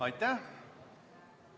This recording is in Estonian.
Aitäh!